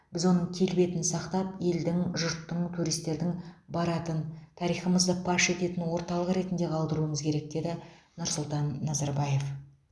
біз оның келбетін сақтап елдің жұрттың туристердің баратын тарихымызды паш ететін орталық ретінде қалдыруымыз керек деді нұрсұлтан назарбаев